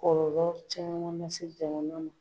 Kɔlɔlɔ caman na se jamana ma